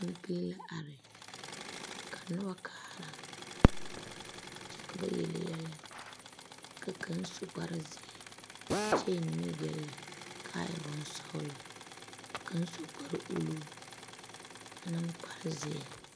kanpele la are ka noba kaara, kyɛ ka bayeli yɛlɛ ka kaŋa su kpare zeɛ. kyɛ eŋɛ nimikyaane kaa e bon sɔglɔ ka kaŋ su kpare uluu a tone kpare. zeɛ